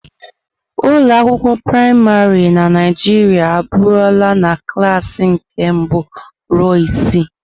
Ụlọ akwụkwọ praịmarị na Naịjirịa aburula na klas nke mbụ ruo isii.